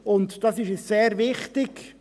Dies ist uns sehr wichtig.